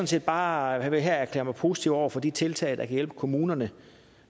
set bare her erklære mig positiv over for de tiltag der kan hjælpe kommunerne